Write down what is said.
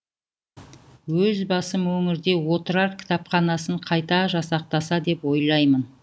өз басым өңірде отырар кітапханасын қайта жасақтаса деп ойлаймын